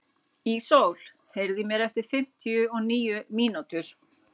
Ísól, heyrðu í mér eftir fimmtíu og níu mínútur.